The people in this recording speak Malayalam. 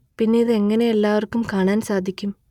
പിന്നെ ഇത് എങ്ങനെ എല്ലാവർക്കും കാണാൻ സാധിക്കും